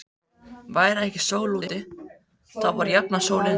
Væri ekki sól úti, þá var jafnan sól inni.